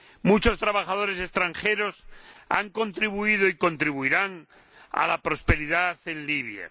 Muchos trabajadores extranjeros han contribuido y contribuirán a la prosperidad en Libia.